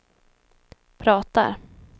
pratar